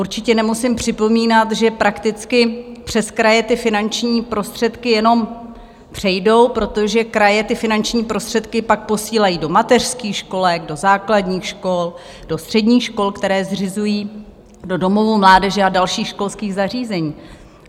Určitě nemusím připomínat, že prakticky přes kraje ty finanční prostředky jenom přejdou, protože kraje ty finanční prostředky pak posílají do mateřských školek, do základních škol, do středních škol, které zřizují, do domovů mládeže a dalších školských zařízení.